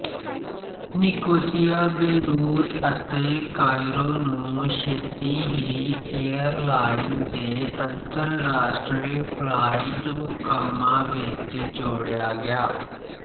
Nicosia Beirut ਅਤੇ Cairo ਨੂੰ ਛੇਤੀ ਹੀ ਏਅਰਲਾਈਨ ਦੇ ਅੰਤਰਰਾਸ਼ਟਰੀ ਫਲਾਇਟ ਮੁਕਾਮਾਂ ਵਿੱਚ ਜੋੜਿਆ ਗਿਆ